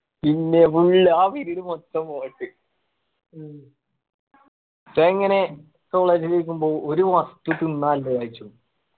പിന്നെ full ആ period മൊത്തം ഇപ്പൊ ഇങ്ങനെ ല് ഇരിക്കുമ്പോ ഒരു വസ്തു തിന്നാനില്ല വിചാരിച്ചോ